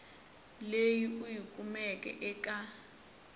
leyi u yi kumeke eka